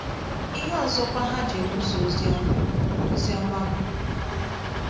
Ihe ọzọkwa ha ji ekwusa ozi ọma ozi ọma bụ...